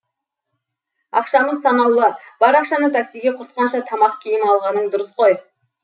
ақшамыз санаулы бар ақшаны таксиге құртқанша тамақ киім алғаның дұрыс қой